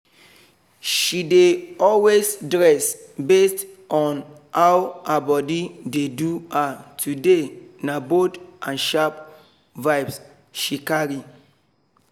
she dey always dress based on how her body dey do her today na bold and sharp vibes she carry